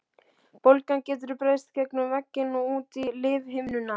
Bólgan getur breiðst gegnum vegginn og út í lífhimnuna.